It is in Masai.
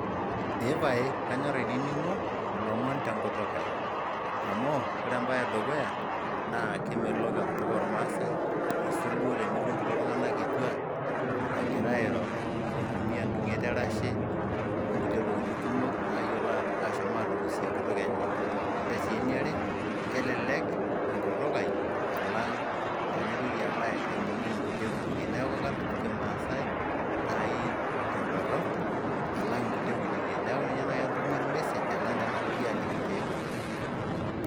Epae kanyor ainining'o ilomon tenkutuk ai. Amu ore embae edukuya, naa kemelok enkutuk ormaasai aisul duo tenitum kulo tung'anak kituak, egira airo eitumia idung'et erashe, onkulie tokiting' kumok nayiolo ashomo atukusie enkutuk enye. Ore si eniare, kelelek enkutuk ai alang' tenaitoki alo ainining' inkulie kutukie. Neeku kadup kimaasai, nai tedorrop alang' inkulie kutukie. Neeku ninye nai atumie ormessage alang' enaapoi aaliki tiai kutuk.